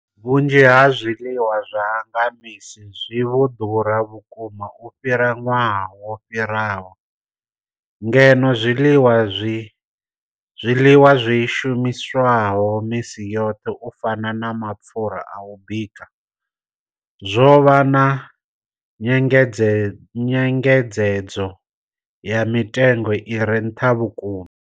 Vhunzhi ha zwiḽiwa zwa nga misi zwi vho ḓura vhukuma u fhira ṅwaha wo fhiraho, ngeno zwiḽiwa zwi shumiswaho misi yoṱhe u fana na mapfhura a u bika zwo vha na nyengedzedzo ya mitengo i re nṱha vhukuma.